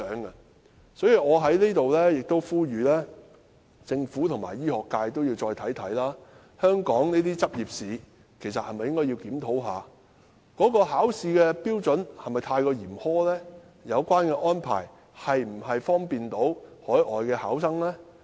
因此，我在這裏呼籲政府和醫學界再想想，香港的執業試是否有需要檢討，考試的標準是否太過嚴苛，以及有關安排是否利便海外考生。